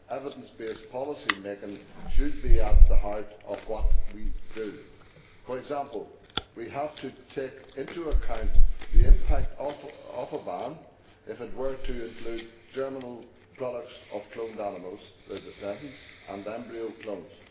Evidence based policy-making should be at the heart of what we do. For example, we have to take into account the impact of a ban if it were to include germinal products of cloned animals their descendants and embryo clones.